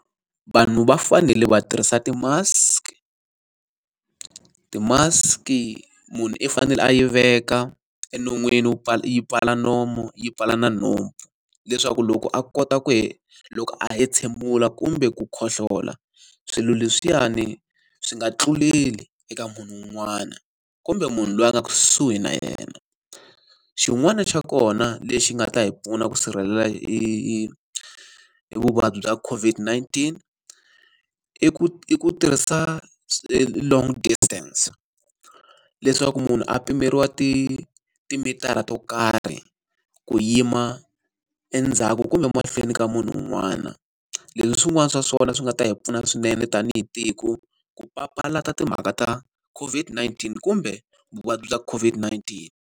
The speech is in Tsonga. Vanhu va fanele va tirhisa ti-mask. Ti-mask-i munhu i fanele a yi veka enon'wini wu yi pfala nomu yi pfala na nhompfu. Leswaku loko a kota ku loko a hentshemula kumbe ku khohlola, swilo leswiyani swi nga tluleli eka munhu un'wana, kumbe munhu loyi a nga kusuhi na yena. Xin'wana xa kona lexi nga ta hi pfuna ku sirhelela i i i vuvabyi bya COVID-19, i ku i ku tirhisa e long distance, leswaku munhu a pimeriwa timitara to karhi ku yima endzhaku kumbe mahlweni ka munhu un'wana. Leswi i swin'wana swa swona swi nga ta hi pfuna swinene tanihi tiko, ku papalata timhaka ta COVID-19 kumbe vuvabyi bya COVID-19.